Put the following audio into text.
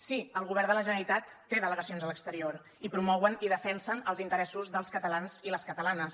sí el govern de la generalitat té delegacions a l’exterior i promouen i defensen els interessos dels catalans i les catalanes